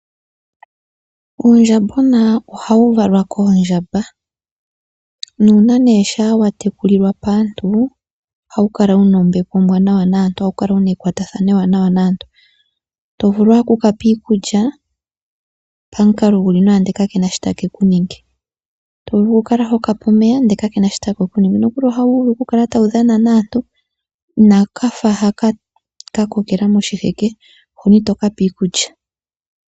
Uundjambona ohawu valwa koondjamba. Nuuna ne sha wa tekulilwa paantu ohawu kala wuna ombepo ombwanawa naantu, ohawu kala wuna ekwatathano ewanawa naantu. To vulu owala oku kapa iikulya pamukalao guli nawa ndele ka kena sho takeku ningi, to vulu wu kale hokape omeya nde kakena sho takeku ningi, nokuli ohawu vulu oku kaala tawu dhana naantu, inakafa haka kokela moshiheke, hono itovulu oku kapa iikulya.